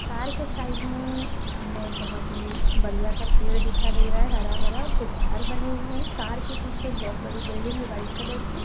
Car की side में हमें बहुत ही बढ़िया सा पेड़ दिखाई दे रहा है हरा-भरा कुछ घर बने हुए हैं कार के पीछे बहुत बड़ी बिल्डिंग है वाइट कलर की।